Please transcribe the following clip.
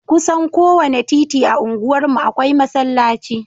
Kusan kowane titi a unguwarmu akwai masallaci